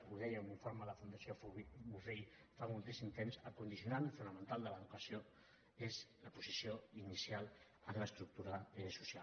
ho deia un informe de la fundació bofill fa moltíssim temps el condicionant fonamental de l’educació és la posició inicial en l’estructura social